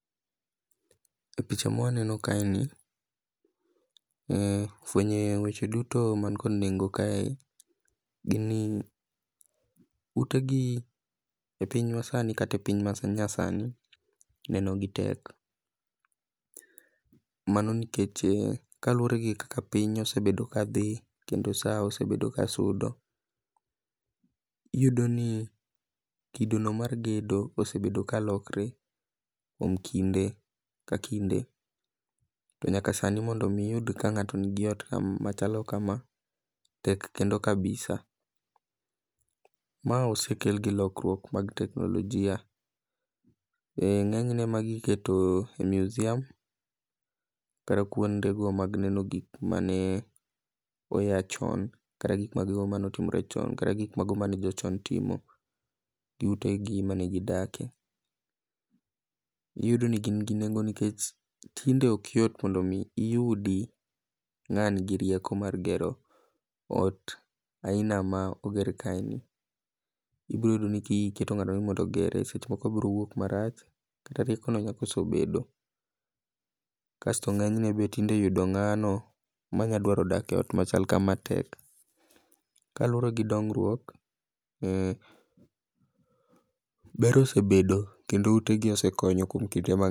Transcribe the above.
E picha ma waneno kae fuenyo weche duto man kod nengo kae gin ute gi epiny masani kata epiny manyasani neno gi tek mano nikech kaluwor gi kaka piny osebedo kadhi kendo saa osebedo kasudo iyudoni kidono mar gedo osebedo kalokre to mondo mi sani mondo iyud ni ng'ato nigi ot machalo kama tek kendo kabisa. Ma osekel gi lokruok mag teknolojia, eh ng'enyne magi iketo e meusium kata kuonde go mag neno gik mane oa chon. Kata gik mago mane oa chon, kata gik mago mane otimore chon. Kata gik mane jochon timo gio utegi mane gidakie. Iyudo ni gin gi nengo nikech tinde ok yot mondo mi iyud ng'ama nigi rieko mar gero ot aina ma oger kaeni, ibiro yudo ni ka iketo ng'ato ni ogere seche moko obiro wuok marach kata ki kaka osebedo. To ng'eny ne yudo ng'ano manyalo dwaro dak eot machal kama tek. Kaluwore gi dongruok, ber osebedo kendo utegi osekonyo kuom kinde ma